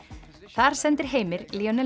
þar sendir Heimir